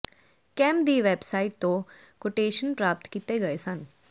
camp ਦੀ website ਤੋਂ quotation ਪ੍ਰਾਪਤ ਕੀਤੇ ਗਏ ਸਨ